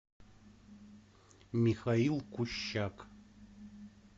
михаил кущак